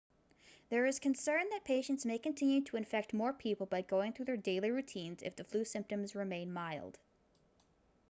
there is concern that patients may continue to infect more people by going through their daily routines if the flu symptoms remain mild